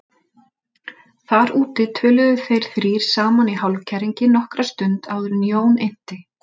Þar úti töluðu þeir þrír saman í hálfkæringi nokkra stund áður en Jón innti